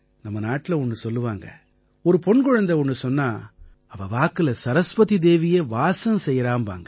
நம்ம நாட்டுல ஒண்ணு சொல்லுவாங்க ஒரு பொண் குழந்தை ஒண்ணு சொன்னா அவ வாக்குல சரஸ்வதி தேவியே வாசம் செய்யறாம்பாங்க